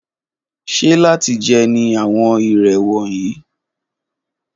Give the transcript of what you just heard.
Ṣe lati jẹ ni awọn irè wọnyi?